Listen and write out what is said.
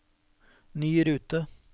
ny rute